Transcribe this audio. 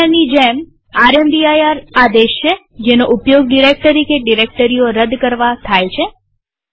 mkdirની જેમ રામદીર આદેશ છે જેનો ઉપયોગ ડિરેક્ટરી કે ડિરેક્ટરીઓ રદ કરવા થાય છે